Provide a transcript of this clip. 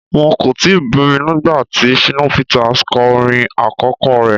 Wọ́n kò tíì bí mi nígbà tí Shina Peters kọ orin àkọ́kọ́ rẹ.